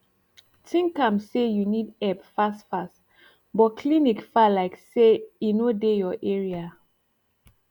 think am say u need epp fast fast but clinic far lyk say e no dey ur area